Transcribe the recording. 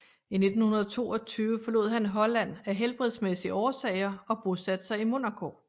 I 1922 forlod han Holland af helbredsmæssige årsager og bosatte sig i Monaco